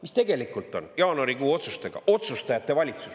Mis tegelikult on, jaanuarikuu otsustajate valitsus?